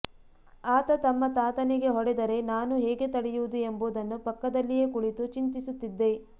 ಆತ ನಮ್ಮ ತಾತನಿಗೆ ಹೊಡೆದರೆ ನಾನು ಹೇಗೆ ತಡೆಯುವುದು ಎಂಬುದನ್ನು ಪಕ್ಕದಲ್ಲಿಯೇ ಕುಳಿತು ಚಿಂತಿಸುತ್ತಿದ್ದೆ